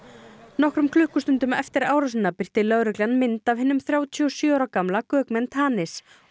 nokkrum klukkustundum eftir árásina birti lögreglan mynd af hinum þrjátíu og sjö ára gamla Gökmen Tanis og